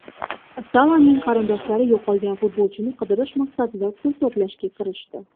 Salaning qarindoshlari yo‘qolgan futbolchini qidirish maqsadida pul to‘plashga kirishdi.